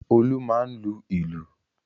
Olú máa ń lu ìlù.